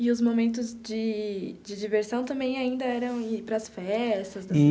E os momentos de de diversão também ainda eram ir para as festas?